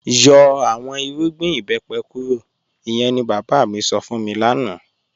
Yọ̀ awọn ìrùgbìn ìbẹ́pẹ̀ kúrò, ìyẹ̀n ni baba mi sọ́ fún mi lánà